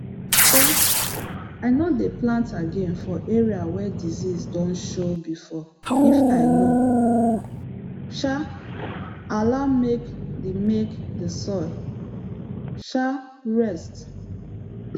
um i no dey plant again for area wey disease don show before if i no um allow make the make the soil um rest